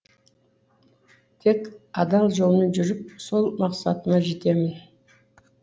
тек адал жолмен жүріп сол мақсатыма жетемін